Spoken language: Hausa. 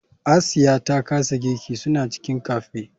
Asiya ta kasa girki suna cikin cafe.